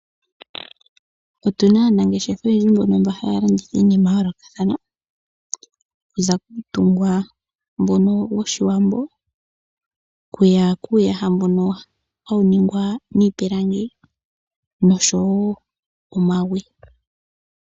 Otuna aanangeshefa oyendji mbono ha ya landitha iinima ya yoolokathana. Okuza kuutungwa mbono woshiwambo, okuya kuuyaha mbono ha wu ningwa niipilangi nosho wo omagwe.